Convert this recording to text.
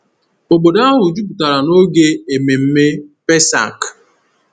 Obodo ahụ jupụtara n’oge ememme Pesach.